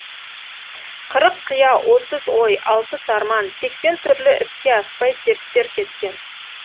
қырық қия отыз ой алпыс арман сексен түрлі іске аспай серттер кеткен